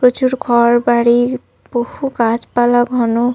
প্রচুর ঘরবাড়ি বহু গাছপালা ঘন --